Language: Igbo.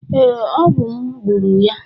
Ee, ọ mu gburu ya